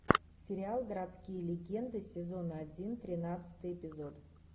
сериал городские легенды сезон один тринадцатый эпизод